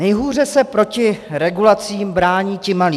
Nejhůře se proti regulacím brání ti malí.